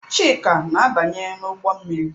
Chika na-abanye n'ụgbọ mmiri.